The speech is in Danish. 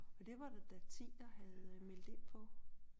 Og det var der da 10 der havde meldt ind på